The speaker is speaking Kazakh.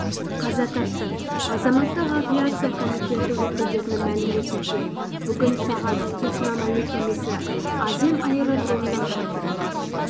қаза тапты азаматтық авиация комитеті өкілдерінің мәліметінше бүгін сағат технам әуе кемесі азем аэродромынан шақырым